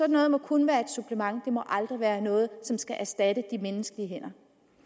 noget må kun være et supplement det må aldrig være noget som skal erstatte de menneskelige hænder